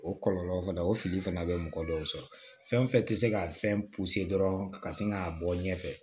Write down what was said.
O kɔlɔlɔ fana o fili fana bɛ mɔgɔ dɔw sɔrɔ fɛn fɛn tɛ se ka fɛn dɔrɔn ka sin k'a bɔ ɲɛfɛ